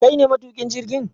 kaine matukin jirgin?